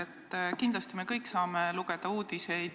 Uudiseid saame me kõik lugeda.